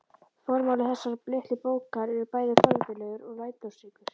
Formáli þessarar litlu bókar er bæði forvitnilegur og lærdómsríkur.